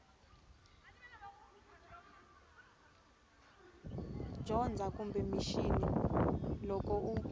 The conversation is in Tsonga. dzonga kumbe mixini loko u